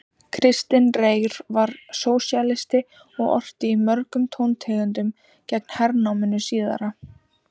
Kristinn Reyr var sósíalisti og orti í mörgum tóntegundum gegn hernáminu síðara.